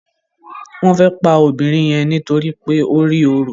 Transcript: Wón fè pá obìrin yen nítorí pé o rí ọrọ.